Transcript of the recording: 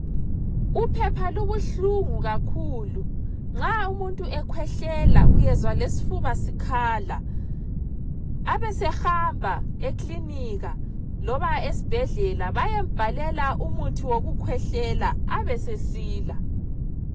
Uphepha lubuhlungu kakhulu nxa umuntu ekhwehlela uyezwa lesfuba sikhala abesehamba eklinika loba esibhedlela bayembhalela umuthi wokukhwehlela abesesila